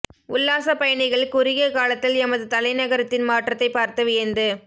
உல்லாசப் பயணிகள் குறுகிய காலத்தில் எமது தலைநகரத்தின் மாற்றத்தைப் பார்த்து வியந்து